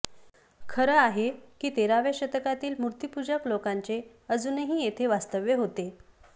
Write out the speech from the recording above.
खरं आहे की तेराव्या शतकातील मूर्तीपूजक लोकांचे अजूनही येथे वास्तव्य होते